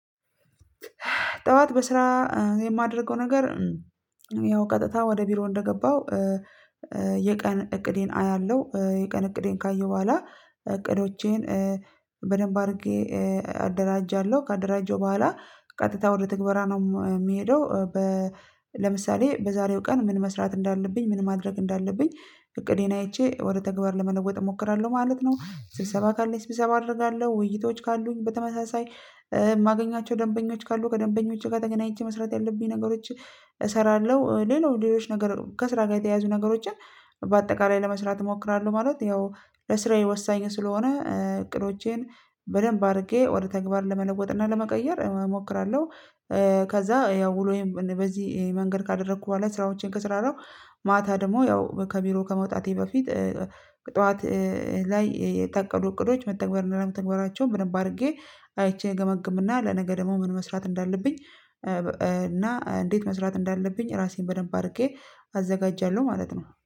ጠዋት በስራ የማደርገው ነገር ያው ቀጥታ ወደ ቢሮ እንደገባው የቀን እቅዴን አያለሁ የቀን እቅዴን ካየሁ በኋላ እቅዶቼን በደንብ አድርጌ አደራጃለሁ ካደራጀሁ በኋላ ቀጥታ ወደ ትግባራ ነው የምሄደው። ለምሳሌ በዛሬው ቀን ምን መስራት እንዳለብኝ ምን ማድረግ እንዳለብኝ እቅዴን አይቼ ወደ ተግባር ለመለወጥ እሞክራለሁ ማለት ነው። ስብሰባ ካለ ስብሰባ አደርጋለሁ ውይይቶች ካሉኝ በተመሳሳይ የማገኛቸው ደንበኞች ካሉ ከደንበኞቼ ጋር ተገናኝቼ መስራት ያለብኝ ነገሮችን እሰራለሁ። ሌሎች ሌሎች ነገር ከስራ ጋር የተያዙ ነገሮችን በአጠቃላይ ለመስራት እሞክራለሁ ማለት ያው ለስራዬ ወሳኝ ስለሆነ እቅዶቼን በደንብ አድርጌ ወደ ተግባር ለመለወጥና ለመቀየር እሞክራለሁ። ከዛ ያው ወሎዬን በዚህ መንገድ ካደረኩ በኋላ ስራዎችን ከሰራራሁ ማታ ደግሞ ያው ከቢሮ ከመውጣቴ በፊት ጠዋት ላይ የታቀዱ እቅዶች መተግበርና አለመተግበራቸውን በደንብ አድርጌ አይቼ እገመግምና። ለነገ ደግሞ ምን መስራት እንዳለብኝ እና እንዴት መስራት እንዳለብኝ ራሴን በደንብ አድርጌ አዘጋጃለሁ ማለት ነው